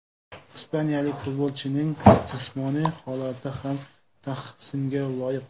Ispaniyalik futbolchining jismoniy holati ham tahsinga loyiq.